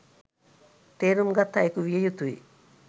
තේරුම් ගත් අයකු විය යුතුයි